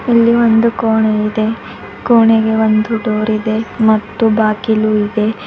ಇಲ್ಲಿ ಒಂದು ಕೋಣೆ ಇದೆ ಕೋಣೆಗೆ ಒಂದು ಡೋರ್ ಇದೆ ಮತ್ತು ಒಂದು ಬಾಗಿಲು ಇದೆ.